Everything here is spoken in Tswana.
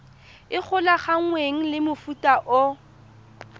e golaganngwang le mofuta o